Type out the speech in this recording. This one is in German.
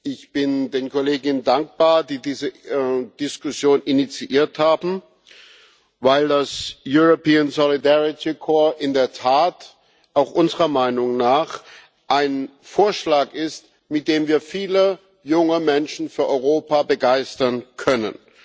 Ich bin den Kollegen dankbar, die diese Diskussion initiiert haben, weil das in der Tat auch unserer Meinung nach ein Vorschlag ist, mit dem wir viele junge Menschen für Europa begeistern können.